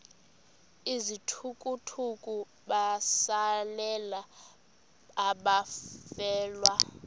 izithukuthuku besalela abafelwa